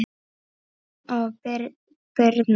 Björn og Brynja.